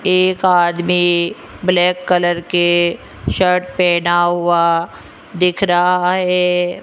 एक आदमी black colour के शर्ट पहना हुआ दिख रहा है।